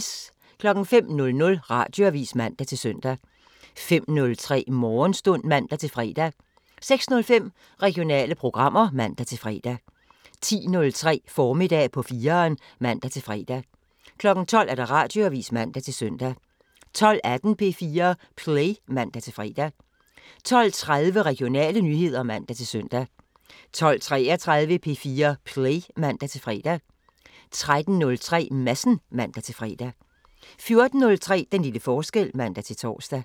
05:00: Radioavisen (man-søn) 05:03: Morgenstund (man-fre) 06:05: Regionale programmer (man-fre) 10:03: Formiddag på 4'eren (man-fre) 12:00: Radioavisen (man-søn) 12:18: P4 Play (man-fre) 12:30: Regionale nyheder (man-søn) 12:33: P4 Play (man-fre) 13:03: Madsen (man-fre) 14:03: Den lille forskel (man-tor)